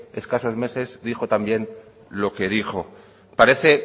escasos meses dijo también lo que dijo en fin parece